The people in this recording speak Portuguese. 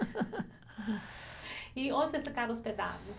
E onde vocês ficaram hospedados?